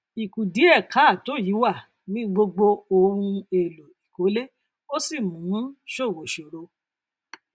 ìkùdíèkáàtó yìí wà ní gbogbo ohun èlò ìkólé ó sì mú ṣòwò ṣòro